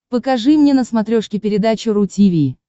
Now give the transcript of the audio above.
покажи мне на смотрешке передачу ру ти ви